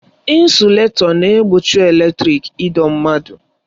Ịnsụletọ na-egbochi eletrịk ịdọ mmadụ.